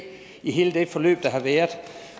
igen er